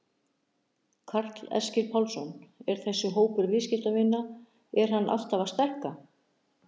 Karl Eskil Pálsson: Er þessi hópur viðskiptavina er hann alltaf að stækka?